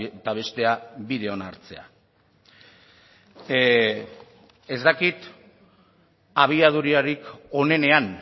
eta bestea bide ona hartzea ez dakit abiadurarik onenean